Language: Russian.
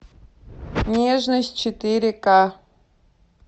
нежность четыре ка